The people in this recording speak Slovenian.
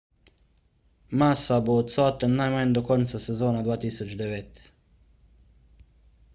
massa bo odsoten najmanj do konca sezone 2009